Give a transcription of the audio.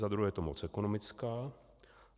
Za druhé je to moc ekonomická.